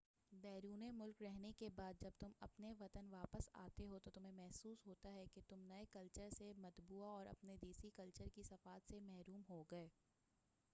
بیرونِ ملک رہنے کے بعد جب تم اپنے وطن واپس آتے ہو تو تمہیں محسوس ہوتا ہے کہ تم نئے کلچر سے مطبوع اور اپنے دیسی کلچر کی صفات سے محروم ہو گئے